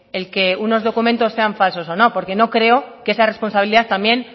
el que unos documentos sean falsos o no porque no creo que esa responsabilidad también